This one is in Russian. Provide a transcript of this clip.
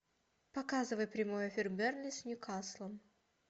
показывай прямой эфир бернли с ньюкаслом